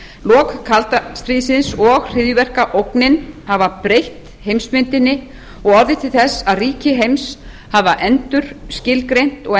lok kalda stríðsins og hryðjuverkaógnin hafa breytt heimsmyndinni og orðið til þess að ríki heims hafa endurskilgreint og